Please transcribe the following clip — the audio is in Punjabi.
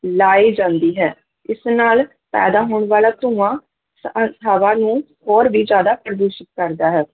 ਲਾਈ ਜਾਂਦੀ ਹੈ ਇਸ ਨਾਲ ਪੈਦਾ ਹੋਣ ਵਾਲਾ ਧੂੰਆਂ ਤਾਂ ਹਵਾ ਨੂੰ ਹੋਰ ਵੀ ਜ਼ਿਆਦਾ ਪ੍ਰਦੂਸ਼ਿਤ ਕਰਦਾ ਹੈ,